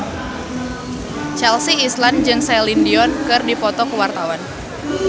Chelsea Islan jeung Celine Dion keur dipoto ku wartawan